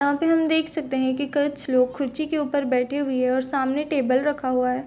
यहाँ पे हम देख सकते है की कुछ लोग कुछी के ऊपर बैठे हुऐ है और सामने टेबल रखा हुआ है।